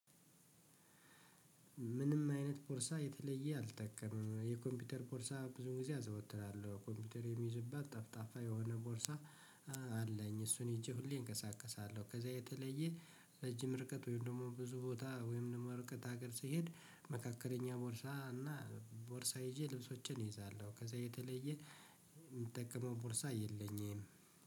ምንም አይነት ቦርሳ የተለየ አልተከምም የኮምፒውተር ቦርሳ ብዙ ጊዜ አዘወትራለሁ ኮምፒውተር የሚይዝባት ጠፍጣፋ የሆነ ቦርሳ። አለኝ እሱን ሄጄ ሁሌ እንቀሳቀሳለሁ ከዛ የተለየ ረጅም ርቀት ወይም ደግሞ ብዙ ቦታ ወይም ደግሞ ርቀት ሀገር ስሄድ መካከለኛ ቦርሳ እና ቦርሳ ይዤ ልብሶችን ይይዛለሁ። ከዛ የተለየ የምጠቅመው ቦርሳ የለኝም።